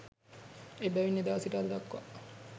එබැවින් එදා සිට අද දක්වා